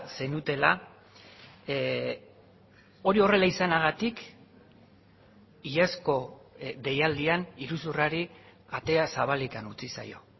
zenutela hori horrela izanagatik iazko deialdian iruzurrari atea zabalik utzi zaio